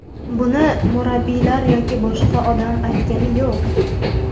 Buni murabbiylar yoki boshqa odam aytgani yo‘q.